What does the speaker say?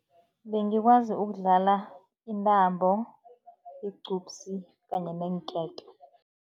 Bengikwazi ukudlala intambo, igcupsi kanye neenketo.